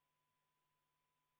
Kohal on 59 Riigikogu liiget.